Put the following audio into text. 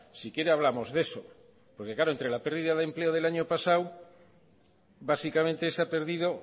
si quiere hablamos de eso porque claro entre la pérdida de empleo del año pasado básicamente se ha perdido